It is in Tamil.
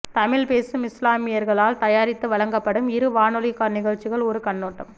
தமிழ் பேசும் இஸ்லாமியர்களால் தயாரித்து வழங்கப்படும் இரு வானொலி நிகழ்ச்சிகள் ஒரு கண்ணோட்டம்